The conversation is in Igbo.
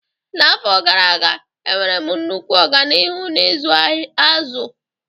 N'afọ gara aga, enwere m nnukwu ọganihu n'ịzụ azụ.